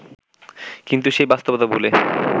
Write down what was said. কিন্তু সেই বাস্তবতা ভুলে